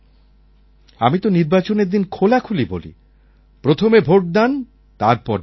আমি তো নির্বাচনের দিন খোলাখুলি বলি প্রথমে ভোটদান তারপর জলপান